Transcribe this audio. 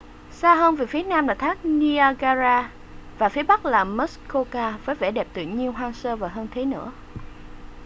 xa hơn về phía nam là thác niagara và phía bắc là muskoka với vẻ đẹp tự nhiên hoang sơ và hơn thế nữa